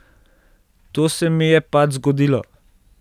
To se mi je pač zgodilo.